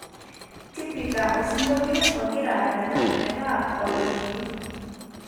tipika osiongolio ogera adala meeta ologili